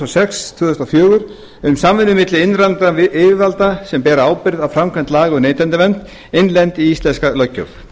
sex tvö þúsund og fjögur um samvinnu milli innlendra yfirvalda sem bera ábyrgð á framkvæmd laga um neytendavernd innleidd í íslenska löggjöf